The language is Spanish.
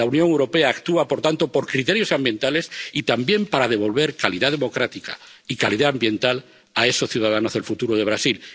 La Unión Europea actúa, por tanto, por criterios ambientales y también para devolver calidad democrática, y calidad ambiental, a esos ciudadanos del futuro de Brasil.